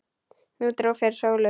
Nú dró fyrir sólu.